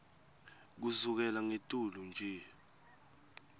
kusukela ngetulu nje